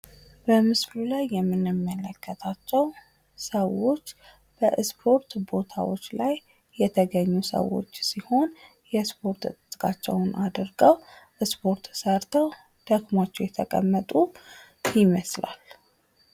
በምስሉ ላይ የምንመለከታቸው ሰዎች በ እስፖርት ቦታዎች ላይ የተገኙ ሰዎች ሲሆን የእስፖርት ትጥቃቸውን አድርገው ስፖርት ሰርተው የተቀመጡ ይመስላል